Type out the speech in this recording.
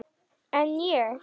En ég.